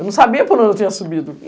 Eu não sabia por onde eu tinha subido.